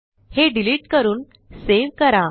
हे डिलिट करून सेव्ह करा